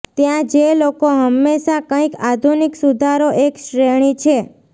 ત્યાં જે લોકો હંમેશા કંઈક આધુનિક સુધારો એક શ્રેણી છે